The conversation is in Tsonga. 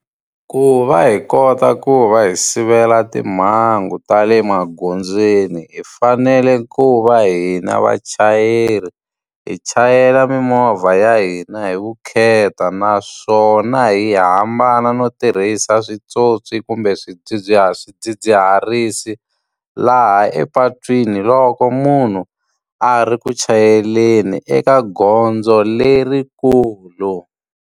Ku va hi kota ku va hi sivela timhangu ta le magondzweni hi fanele ku va hina vachayeri hi chayela mimovha ya hina hi vukheta. Naswona hi hi hambana no tirhisa swipyopyi kumbe swidzidziharisi, laha epatwini loko munhu a ri ku chayeleni eka gondzo lerikulu.